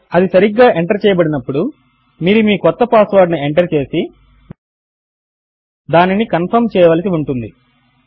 అది సరిగ్గా ఎంటర్ చేయబడినప్పుడు మీరు మీ క్రొత్త పాస్వర్డ్ ను ఎంటర్ చేసి దానిని కన్ఫర్మ్ చేయవలసి ఉంటుంది